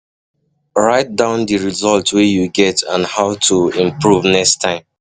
Write um down di result wey you get and how to um improve next time